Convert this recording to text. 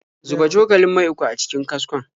Zuba cokalin mai uku a cikin kaskon.